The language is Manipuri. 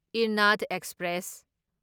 ꯢꯔꯅꯥꯗ ꯑꯦꯛꯁꯄ꯭ꯔꯦꯁ